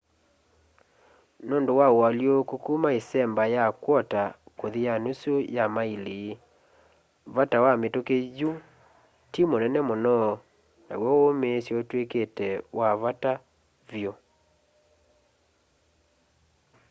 nũndũ wa ũalyũko kuma ĩsemba ya kwota kũthi ya nusu ya maĩli vata wa mĩtũkĩ yu ti munene mũno naw'o ũũmĩĩsyo ũtw'ĩkĩte wa vata vyũ